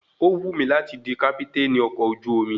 Ó wù mí láti di kápítènì ọkọ̀ ojú omi